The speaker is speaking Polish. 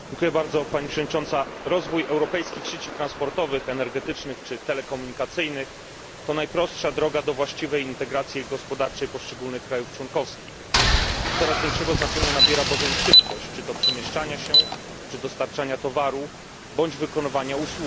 Pani Przewodnicząca! Rozwój europejskich sieci transportowych, energetycznych czy telekomunikacyjnych to najprostsza droga do właściwej integracji gospodarczej poszczególnych państw członkowskich. Coraz większego znaczenia nabiera bowiem szybkość, czy to przemieszczania się, czy dostarczania towaru bądź wykonywania usługi.